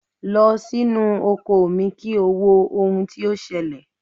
Lọ sínú oko mi kí o wo ohun tí ó ṣẹlẹ̀.!